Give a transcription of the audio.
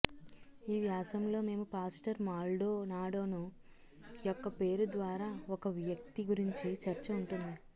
ఈ వ్యాసం లో మేము పాస్టర్ మాల్డోనాడోను యొక్క పేరు ద్వారా ఒక వ్యక్తి గురించి చర్చ ఉంటుంది